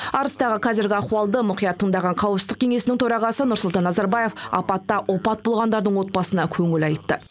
арыстағы қазіргі ахуалды мұқият тыңдаған қауіпсіздік кеңесінің төрағасы нұрсұлтан назарбаев апатта опат болғандардың отбасына көңіл айтты